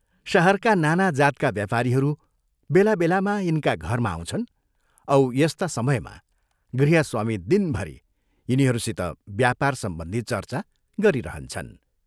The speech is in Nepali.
शहरका नाना जातका व्यापारीहरू बेला बेलामा यिनका घरमा आउँछन् औ यस्ता समयमा गृहस्वामी दिनभरि यिनीहरूसित व्यापार सम्बन्धी चर्चा गरिरहन्छन्।